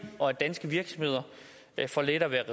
og at danske virksomheder får lettere ved at